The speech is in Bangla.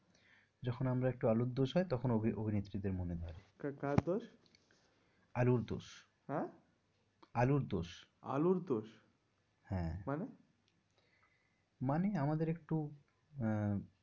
যখন আমার একটু আলুর দোষ হয় তখন অভি অভিনেত্রী দের মনে ধরে, কার দোষ? আলুর দোষ, আলুর দোষ, আলুর দোষ হ্যাঁ, মানে? মানে আমাদের একটু